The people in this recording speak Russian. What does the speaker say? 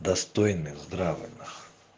достойный здравый нахуй